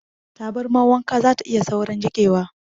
Tabarmar wanka zata iya saurin jiƙewa.